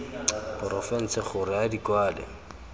porofense gore a di kwale